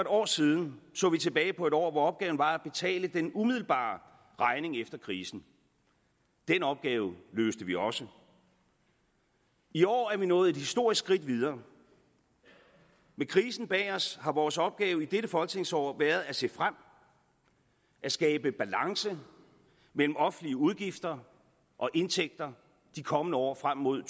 år siden så vi tilbage på et år hvor opgaven var at betale den umiddelbare regning efter krisen den opgave løste vi også i år er vi nået et historisk skridt videre med krisen bag os har vores opgave i dette folketingsår været at se frem at skabe balance mellem offentlige udgifter og indtægter de kommende år frem mod